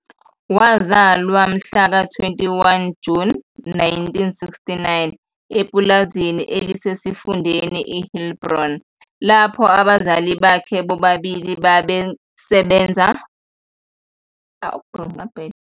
Wazalwa mhla ka-21 Juni 1969 epulazini elisesifundeni i-Heilbron lapho abazali bakhe bobalili babengabasebenzi basepulazini. Babeyizingane eziyisikhombisa - abafana abane namantombazane amathathu. Uyise wayefuye izinkomo ezimbalwa epulazini ayesebenza kulo nezazeluswa uPaul.